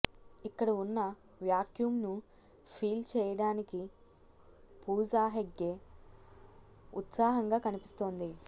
ఇక్కడ ఉన్న వాక్క్యూమ్ ను ఫీల్ చేయడానికి పూజ హెగ్డే ఉత్సాహంగా కనిపిస్తోంది